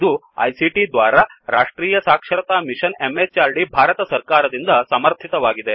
ಇದು ಐಸಿಟಿ ದ್ವಾರಾ ರಾಷ್ಟ್ರೀಯ ಸಾಕ್ಷರತಾ ಮಿಶನ್ ಎಂಎಚಆರ್ಡಿ ಭಾರತ ಸರ್ಕಾರದಿಂದ ಸಮರ್ಥಿತವಾಗಿದೆ